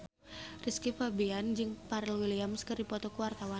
Rizky Febian jeung Pharrell Williams keur dipoto ku wartawan